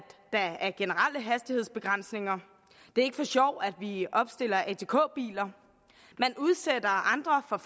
der er generelle hastighedsbegrænsninger det er ikke for sjov at vi opstiller atk biler man udsætter andre for